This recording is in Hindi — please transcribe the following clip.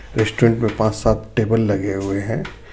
रेस्टोरेंट में पांच सात टेबल लगे हुए हैं.